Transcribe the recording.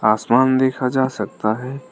आसमान देखा जा सकता है।